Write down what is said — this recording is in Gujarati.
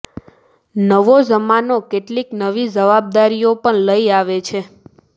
નવો જમાનો કેટલીક નવી જવાબદારીઓ પણ લઇ આવે છે